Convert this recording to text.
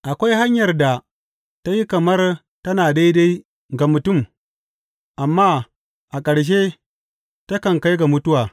Akwai hanyar da ta yi kamar tana daidai ga mutum, amma a ƙarshe takan kai ga mutuwa.